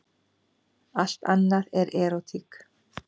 Allt annað er erótík.